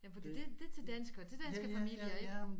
Jamen fordi det det til danskere til danske familier